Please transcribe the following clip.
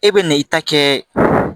E bɛ na i ta kɛ